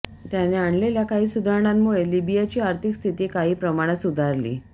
त्याने आणलेल्या काही सुधारणांमुळे लिबियाची आर्थिक स्थिती काही प्रमाणात सुधारली